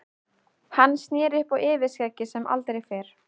Hann sneri upp á yfirskeggið sem aldrei fyrr.